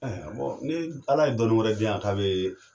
ni Ala ye dɔnni wɛrɛ di yan k'a bɛ